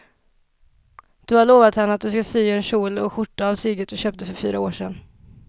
Du har lovat henne att du ska sy en kjol och skjorta av tyget du köpte för fyra år sedan.